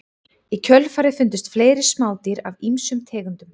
Í kjölfarið fundust fleiri smádýr af ýmsum tegundum.